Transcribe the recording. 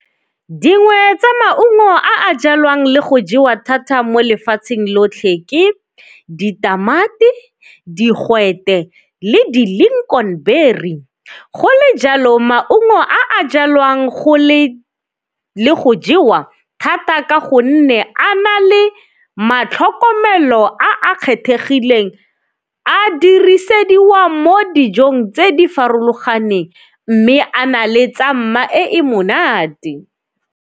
Dingwe tsa maungo a jalwang le go jewa thata mo lefatsheng lotlhe ke ditamati, digwete le di-lincoln berry. Go le jalo maungo a jalwang go le, le go jewa thata ka gonne a na le matlhokomelo a kgethegileng a dirisediwa mo dijong tse di farologaneng mme a na le tsa mma e monate.